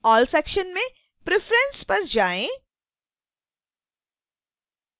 all section में preference पर जाएँ